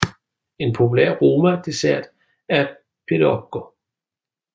En populær roma dessert er pirogo